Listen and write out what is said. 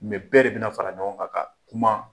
Mais bɛɛ de bɛna fara ɲɔgɔn kan ka kuma